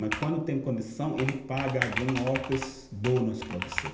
Mas quando tem condição, ele paga algum outros bônus para você.